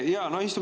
Aitäh!